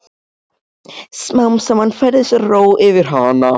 Smám saman færist ró yfir hana.